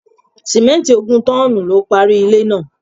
Sìmẹ́nti ogún tọ́n-ọ́n-nù lo parí ilé náà.